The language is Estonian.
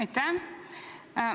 Aitäh!